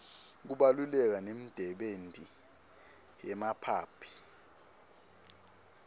kubaluleka nemdebenti yemaphaphy